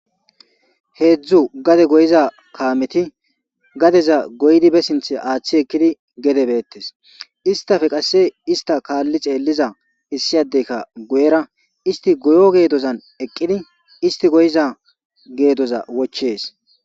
heedzdzu gade goyiza kaameti gadeza goydi be sinthe aaththi ekkidi gedebeettes istafe qasse ista kaalli xeelliza issiyadeyka guyera isti goyo geedozan eqqidi isti goyiza geedoza wochees